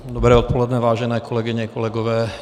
Dobré odpoledne, vážené kolegyně, kolegové.